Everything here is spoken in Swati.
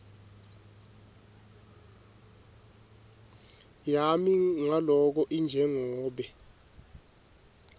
yami ngaloko injengobe